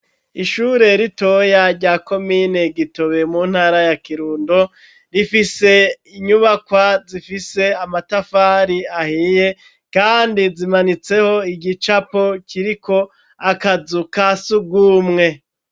Ishure ritoya rya komine Gitobe mu ntara ya Kirundo, rifise inyubakwa zifise amatafari ahiye kandi zimanitseko igicapo kiriko akazu ka sugumwe.